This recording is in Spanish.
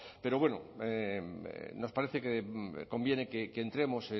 pero bueno nos parece que conviene que entremos